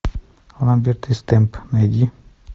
ламберт и стэмп найди